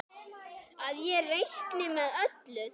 Að ég reikni með öllu.